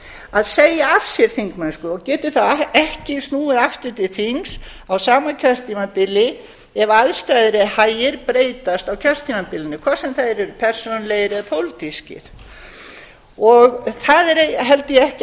að segja af sér þingmennsku og getur þá ekki snúið aftur til þings á sama kjörtímabili ef aðstæður eða hagir breytast á kjörtímabilinu hvort sem þeir eru persónulegir eða pólitískir það er held ég ekki hægt